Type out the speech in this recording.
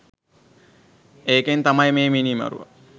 ඒකෙන් තමයි මේ මිනීමරුවා